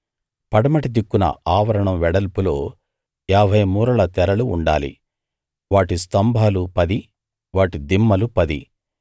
పడమటి దిక్కున ఆవరణం వెడల్పులో ఏభై మూరల తెరలు ఉండాలి వాటి స్తంభాలు పది వాటి దిమ్మలు పది